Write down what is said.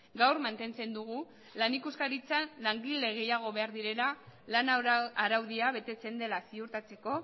gaur mantentzen dugu lan ikuskaritzan langile gehiago behar direla lan araudia betetzen dela ziurtatzeko